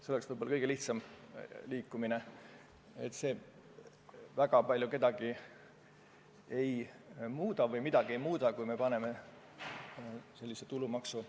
See oleks võib-olla kõige lihtsam edasiminek, see väga palju kedagi või midagi ei muuda, kui me kehtestame sellise tulumaksu.